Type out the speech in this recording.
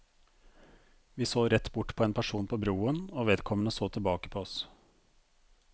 Vi så rett bort på en person på broen, og vedkommende så tilbake på oss.